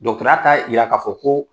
Dɔtɔrɔya t'a yira k'a fɔ ko